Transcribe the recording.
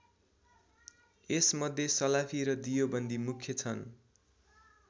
यस मध्ये सलाफी र दियोबन्दी मुख्य छन्।